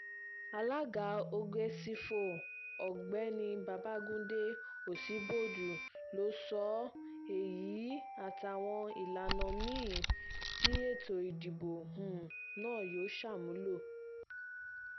alága ògèsífò ọ̀gbẹ́ni babagundé ọsibọ́dù ló sọ um èyí àtàwọn ìlànà mí-ín tí ètò ìdìbò um náà yóò ṣàmúlò